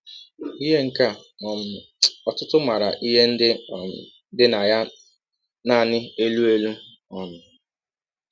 Ihe ka um ọtụtụ maara ihe ndị um dị na ya nanị elụ elụ. um